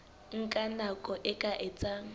nka nako e ka etsang